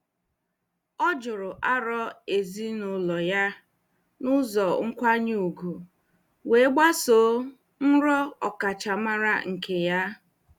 Ọ jụrụ aro ezinụlọ ya n'ụzọ nkwanye ùgwù wee gbasoo nrọ ọkachamara nke ya.